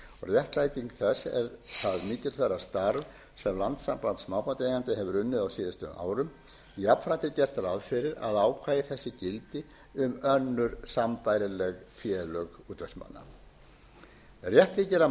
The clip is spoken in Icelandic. réttlæting þess er það mikilsverða starf sem landssamband smábátaeigenda hefur unnið á síðustu árum jafnframt er gert ráð fyrir að ákvæði þessi gildi um önnur sambærileg félög útvegsmanna rétt þykir að